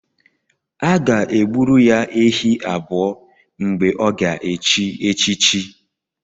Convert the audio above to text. A ga-e gburu ya ehi abụọ mgbe ọ ga-echi echichi